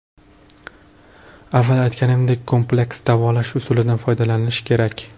Avval aytanimizdek, kompleks davolash usulidan foydalanish kerak.